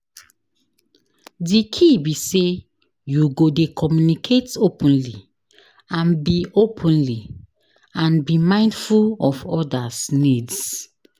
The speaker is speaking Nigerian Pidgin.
di key be say you go dey communicate openly, and be openly, and be mindful of oda's needs.